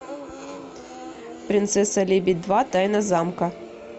принцесса лебедь два тайна замка